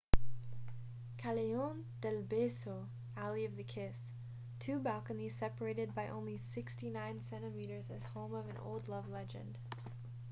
callejon del beso alley of the kiss. two balconies separated by only 69 centimeters is home of an old love legend